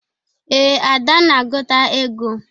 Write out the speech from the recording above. Ee, Ada na-agụta ego.